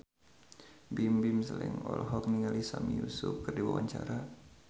Bimbim Slank olohok ningali Sami Yusuf keur diwawancara